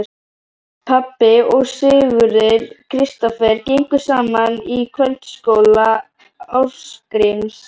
Pabbi og Sigurður Kristófer gengu saman í kvöldskóla Ásgríms